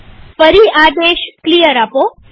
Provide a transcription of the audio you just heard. ફરી આદેશ ક્લિયર આપો